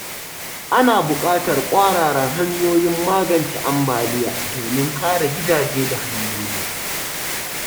Ana buƙatar ƙwararan hanyoyin magance ambaliya domin kare gidaje da hanyoyi.